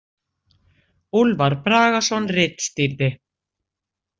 Úlfar Bragason ritstýrði.